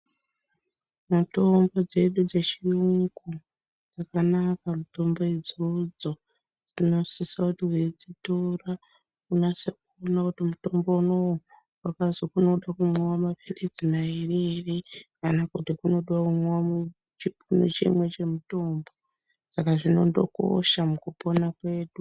Mutombo dzedu dzechiyungu dzakanaka mutombo idzodzo. Dzinosisa kuti weidzitora unase kuona kuti mutombo unoo wakazi unoda kumwiwa maphilizi mairi here kana kunoda kumwiwa chipunu chimwe chomutombo, saka zvinondokosha mukupona kwedu.